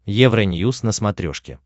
евроньюз на смотрешке